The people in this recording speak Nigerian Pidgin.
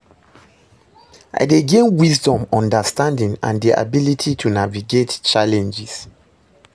I dey gain wisdom, understanding, and di ability to navigate challenges.